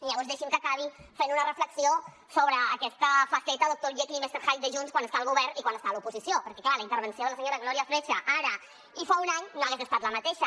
llavors deixi’m que acabi fent una reflexió sobre aquesta faceta doctor jekyll i mister hyde de junts quan està al govern i quan està a l’oposició perquè clar la intervenció de la senyora glòria freixa ara i fa un any no hagués estat la mateixa